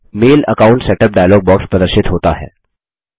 मैल account setup dialogue box प्रदर्शित होता है